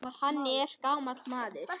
Hann er gamall maður.